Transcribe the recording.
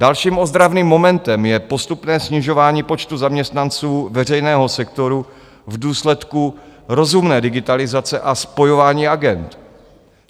Dalším ozdravným momentem je postupné snižování počtu zaměstnanců veřejného sektoru v důsledku rozumné digitalizace a spojování agend.